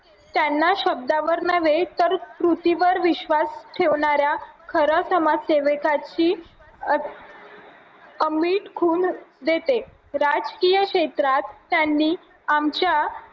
त्यांना शब्दावर नव्हे तर कृतीवर विश्वास ठेवणाऱ्या खरं समाजसेवे खून देते राजकीय क्षेत्रात त्यांनी आमच्या